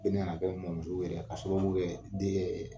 Ko u nana bɔ mɔso yɛrɛ k'a sababu kɛ den yɛ .